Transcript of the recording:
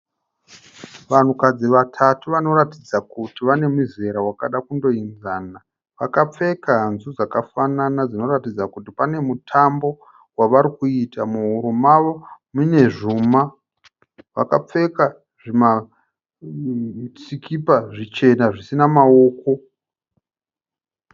Vanhukadzi vatatu vanoratidza kuti vane muzera wakada kundoenzana. Vakapfeka hanzu dzakafanana zvinoratidza kuti pane mutambo wavari kuita. Muhuro mavo mune zvuma. Vakapfeka zvimasikipa zvichena zvisina maoko.